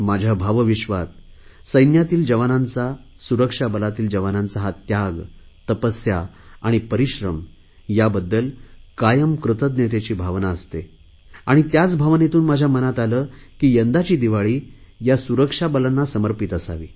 माझ्या भावविश्वात सैन्यातील जवानांचा सुरक्षा बलातील जवानांचा हा त्याग तपस्या आणि परिश्रम याबद्दल कायम कृतज्ञतेची भावना असते आणि त्याच भावनेतून माझ्या मनात आले की यंदाची दिवाळी या सुरक्षा बलांना समर्पित असावी